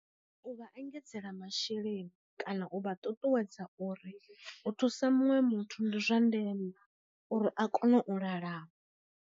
U vha engedzela masheleni, kana u vha ṱuṱuwedza uri u thusa muṅwe muthu ndi zwa ndeme uri a kone u lalama.